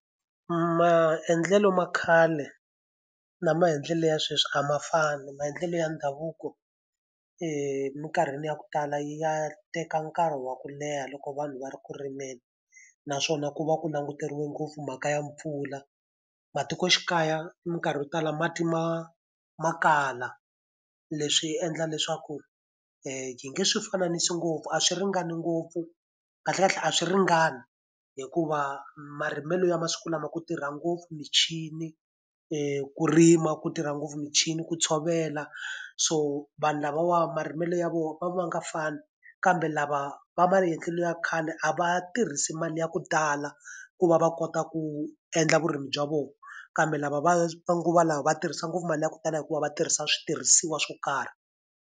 Maendlelo ma khale na maendlelo ya sweswi a ma fani. Maendlelo ya ndhavuko minkarhini ya ku tala ya teka nkarhi wa ku leha loko vanhu va ri ku rimeni, naswona ku va ku languteriwe ngopfu mhaka ya mpfula. Matikoxikaya minkarhi yo tala mati ma ma kala, leswi endla leswaku hi nge swi fananisi ngopfu a swi ringani ngopfu. Kahlekahle a swi ringani hikuva marimelo ya masiku lama ku tirha ngopfu michini, ku rima ku tirha ngopfu michini, ku tshovela. So vanhu lavawa marimelo ya vona ya va ya nga fani kambe lava va maendlelo ya khale a va tirhisi mali ya ku tala, ku va va kota ku endla vurimi bya vona. Kambe lava va manguva lawa va tirhisa ngopfu mali ya ku tala hikuva va tirhisa switirhisiwa swo karhi.